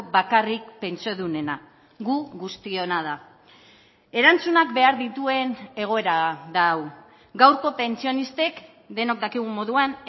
bakarrik pentsiodunena gu guztiona da erantzunak behar dituen egoera da hau gaurko pentsionistek denok dakigun moduan